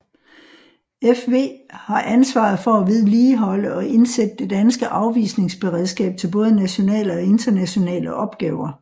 FW har ansvaret for at vedligeholde og indsætte det danske afvisningsberedskab til både nationale og internationale opgaver